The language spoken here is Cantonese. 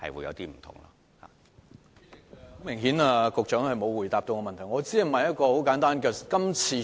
主席，很明顯局長並沒有回答我的補充質詢。